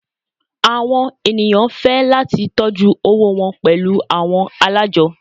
Awọn eniyan fẹ lati tọjú owó wọn pẹlu awọn alájọ́.